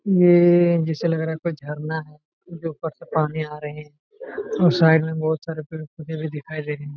यह जैसा लग रहा है कोई झरना है जो ऊपर से पानी आ रहे हैं और साइड में बहुत सारे पेड़ पौधे भी दिखाई दे रहे हैं।